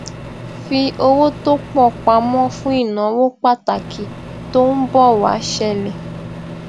fi owó tó pọ pamó fún ìnáwó pàtàkì tó ń bò wá ṣẹlè